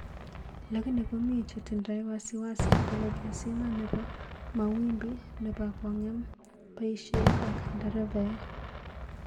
Lakini komi chetindo wasiwasi kole keziman nebo mawimbi nebo konge'em baishek ak nderevae.